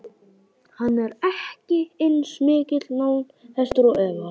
Hann er ekki eins mikill námshestur og Eva.